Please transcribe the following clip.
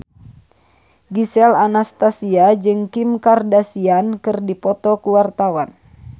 Gisel Anastasia jeung Kim Kardashian keur dipoto ku wartawan